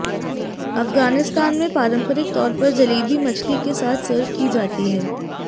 अफ़ग़ानिस्तान में पारम्परिक तौर पर जलेबी मछली के साथ सर्व की जाती है